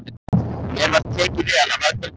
Mér var tekið vel af öllum þessum mönnum.